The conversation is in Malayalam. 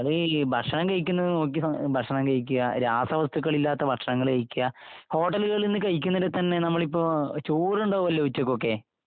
നിങ്ങള് ഭക്ഷണം കഴിക്കുന്നത് നോക്കി ഭക്ഷണം കഴിക്കുക... രസവസ്തുക്കളില്ലാത്ത ഭക്ഷങ്ങള് കഴിക്കുക... ഹോട്ടലുകളിൽ നിന്ന് കഴിക്കുന്നുണ്ടേ തന്നെ നമ്മളിപ്പോ... ചോറുണ്ടാകുമല്ലോ ഉച്ചയ്ക്കൊക്കെ...